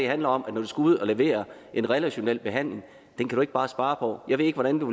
handler om at man skal ud og levere en relationel behandling den kan du ikke bare spare på jeg ved ikke hvordan du